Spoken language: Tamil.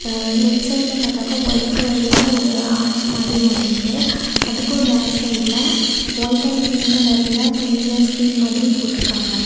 ஆ லெஃப்ட் சைடுல பாத்தாக்கா ஒயிட் கலர்ல ஒரு ஆர்ச் மாதிரி ஒன்னு இருக்கு அதுக்கும் பேக் சைட்ல ஒயிட் அண்ட் பிங்க் கலர்ல துணில ஸ்க்ரீன் மாதிரி போட்ருக்காங்க.